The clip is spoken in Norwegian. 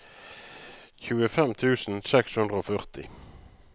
tjuefem tusen seks hundre og førti